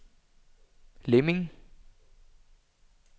Lemming